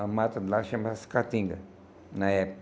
A mata lá chama-se catinga, na época.